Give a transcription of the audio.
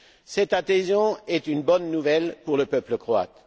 Cette adhésion est une bonne nouvelle pour le peuple croate.